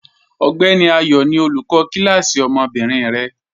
Ọgbẹni Ayọ ni olúkọ̀ kilasí ọmọ́bìnrin rẹ.